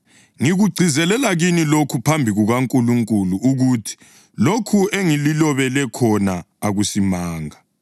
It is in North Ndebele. Ngikugcizelela kini lokhu phambi kukaNkulunkulu ukuthi lokhu engililobela khona akusimanga.